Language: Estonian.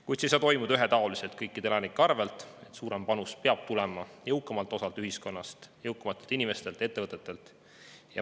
Kuid see ei saa toimuda kõikide elanike arvelt ühetaoliselt, vaid suurem panus peab tulema jõukamalt osalt ühiskonnast, jõukamatelt inimestelt ja ettevõtetelt.